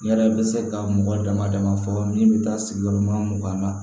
Yala yala bɛ se ka mɔgɔ damadama fɔ min bɛ taa sigi yɔrɔma mugan na